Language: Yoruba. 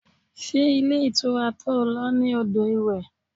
Ṣé ilé ìtura to lọ ní odò iwe?